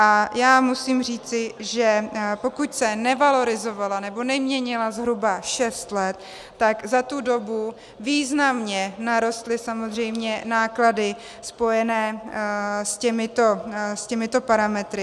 A já musím říci, že pokud se nevalorizovalo, nebo neměnila zhruba šest let, tak za tu dobu významně narostly samozřejmě náklady spojené s těmito parametry.